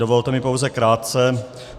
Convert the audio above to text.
Dovolte mi pouze krátce.